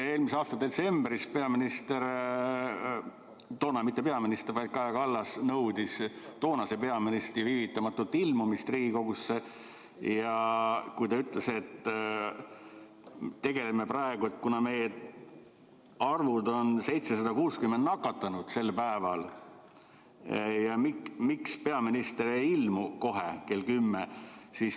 Eelmise aasta detsembris peaminister, toona mitte peaminister, vaid Kaja Kallas nõudis toonase peaministri viivitamatut ilmumist Riigikogusse ja ütles, et need arvud on, 760 nakatanut sel päeval, ja miks peaminister ei ilmu kohe kell 10.